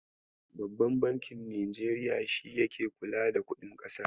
Babban bankin Najeriya shi yake kula da kuɗin ƙasar.